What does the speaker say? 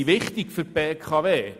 Die Netze sind wichtig für die BKW.